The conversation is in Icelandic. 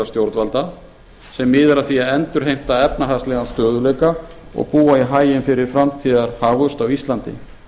stjórnvalda sem miðar að því að endurheimta efnahagslegan stöðugleika og búa í haginn fyrir framtíðarhagvöxt á íslandi